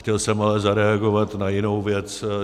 Chtěl jsem ale zareagovat na jinou věc.